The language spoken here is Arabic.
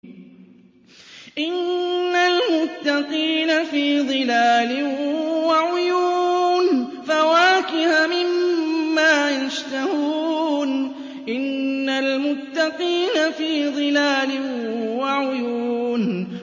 إِنَّ الْمُتَّقِينَ فِي ظِلَالٍ وَعُيُونٍ